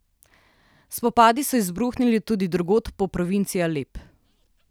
Spopadi so izbruhnili tudi drugod po provinci Alep.